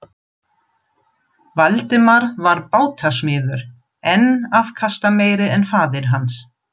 Valdimar var bátasmiður, enn afkastameiri en faðir hans.